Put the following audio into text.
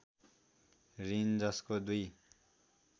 ऋण जसको दुई